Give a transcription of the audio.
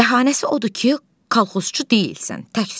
Bəhanəsi odur ki, kolxozçu deyilsən, təksən.